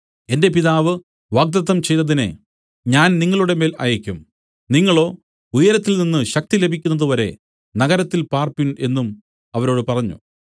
എന്റെ പിതാവ് വാഗ്ദത്തം ചെയ്തതിനെ ഞാൻ നിങ്ങളുടെമേൽ അയയ്ക്കും നിങ്ങളോ ഉയരത്തിൽനിന്ന് ശക്തി ലഭിക്കുന്നതു വരെ നഗരത്തിൽ പാർപ്പിൻ എന്നും അവരോട് പറഞ്ഞു